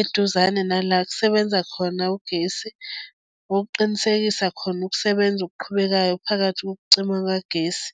eduzane nala kusebenza khona ugesi okuqinisekisa khona ukusebenza okuqhubekayo phakathi kokucima kagesi.